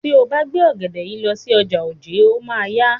Tí o bá gbé ògèdè yìí lọ sí ọjà Ojé, o máa a yá.